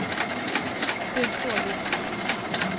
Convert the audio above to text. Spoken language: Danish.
Det er en stor lettelse.